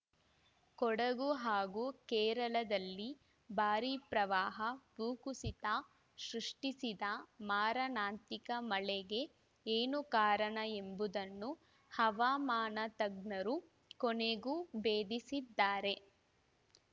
ಕೊಡಗು ಹಾಗೂ ಕೇರಳದಲ್ಲಿ ಭಾರಿ ಪ್ರವಾಹ ಭೂಕುಸಿತ ಸೃಷ್ಟಿಸಿದ ಮಾರಣಾಂತಿಕ ಮಳೆಗೆ ಏನು ಕಾರಣ ಎಂಬುದನ್ನು ಹವಾಮಾನ ತಜ್ಞರು ಕೊನೆಗೂ ಭೇದಿಸಿದ್ದಾರೆ